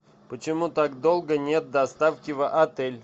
почему так долго нет доставки в отель